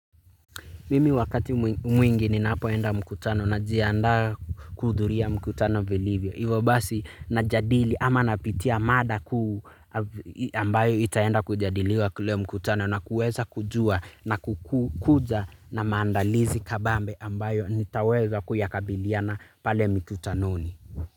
Mimi wakati mwingi ninapoenda mkutano na jianda kuhudhuria mkutano vilivyo. Ivo basi na jadili ama napitia mada kuu ambayo itaenda kujadiliwa kule mkutano na kueza kujua na kukuja na maandalizi kabambe ambayo nitaweza kuyakabiliana pale mkutanoni.